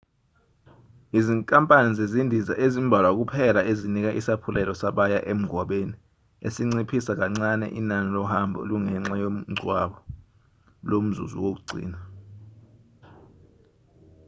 izinkampani zezindiza ezimbalwa kuphela ezinika isaphulelo sabaya emngwabeni esinciphisa kancane inani lohambo olungenxa yomngcwabo lomzuzu wokugcina